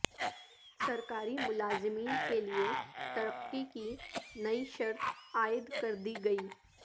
سرکاری ملازمین کےلئے ترقی کی نئی شرط عائد کر دی گئی